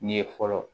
Ni ye fɔlɔ